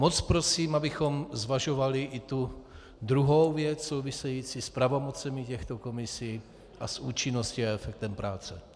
Moc prosím, abychom zvažovali i tu druhou věc související s pravomocemi těchto komisí a s účinností a efektem práce.